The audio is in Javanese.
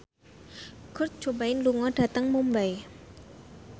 Kurt Cobain lunga dhateng Mumbai